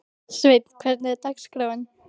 Sveinn, hvernig er dagskráin?